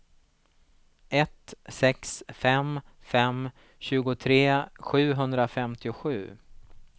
ett sex fem fem tjugotre sjuhundrafemtiosju